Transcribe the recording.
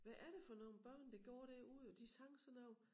Hvad er det for nogle børn der går derude og de sang sådan nogle